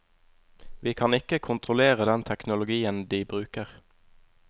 Vi kan ikke kontrollere den teknologien de bruker.